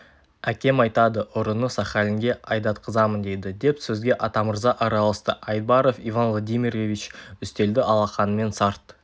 әкем айтады ұрыны сахалинге айдатқызамын дейді деп сөзге атамырза араласты айбаров иван владимирович үстелді алақанымен сарт